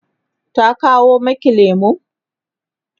tana kawo maki lemu?